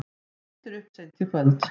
Styttir upp seint í kvöld